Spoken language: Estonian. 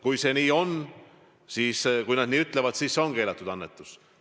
Kui see nii on, st kui nad nii ütlevad, siis see on keelatud annetus.